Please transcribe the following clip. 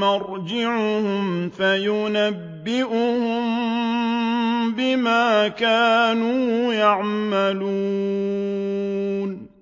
مَّرْجِعُهُمْ فَيُنَبِّئُهُم بِمَا كَانُوا يَعْمَلُونَ